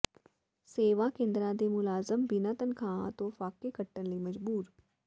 ਸੇਵਾ ਕੇਂਦਰਾਂ ਦੇ ਮੁਲਾਜ਼ਮ ਬਿਨਾਂ ਤਨਖ਼ਾਹਾਂ ਤੋਂ ਫ਼ਾਕੇ ਕੱਟਣ ਲਈ ਮਜਬੂਰ